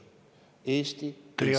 Teie aeg!